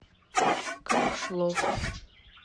камышлов